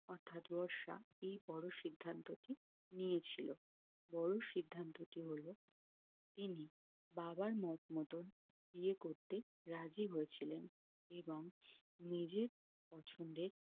অর্থাৎ বর্ষা এই বড়ো সিদ্ধান্ত টি নিয়ে ছিল বড়ো সিদ্ধান্ত টি হলো ইনি বাবার মত মতোই বিয়ে করতে রাজি হয়েছিলেন এবং নিজের পছন্দে